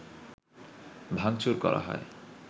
ভাঙচুর করা হয়